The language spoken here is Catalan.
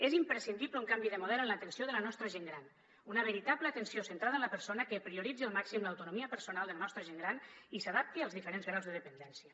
és imprescindible un canvi de model en l’atenció de la nostra gent gran una veritable atenció centrada en la persona que prioritzi al màxim l’autonomia personal de la nostra gent gran i s’adapti als diferents graus de dependència